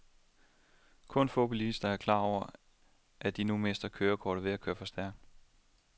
Kun få bilister er klar over, at de nu mister kørekortet ved at køre for stærkt.